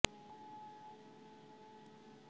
businesswoman का tag तो मेरे साथ बाद में जुड़ा है